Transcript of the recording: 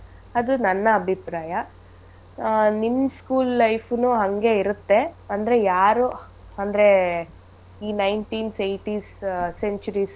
ಅದು ನನ್ನ ಅಭಿಪ್ರಾಯ ಆಹ್ ನಿಮ್ school life ಉನೂ ಹಂಗೆ ಇರತ್ತೆ ಅಂದ್ರೆ ಯಾರೂ ಅಂದ್ರೆ ಈ nineties eighties centuries .